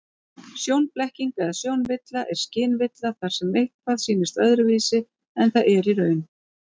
Sjónblekking eða sjónvilla er skynvilla þar sem eitthvað sýnist öðruvísi en það er í raun.